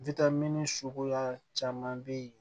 suguya caman be yen